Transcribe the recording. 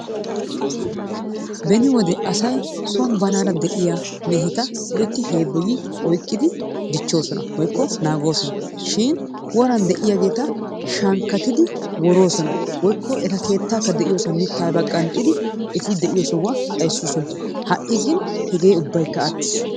Beni wode asay son banaara de'iya meheta loytti heebboyi oyqqidi dichchoosona woykko naagoosona. Shin woran de'iyageeta shankkatidi woroosona woykko eta keettaakka de'iyosan mittaa aybaa qanxxidi eti de'iyo sohuwa xayssoosona. Ha"i gin hegee ubbaykka attiis.